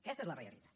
aquesta és la realitat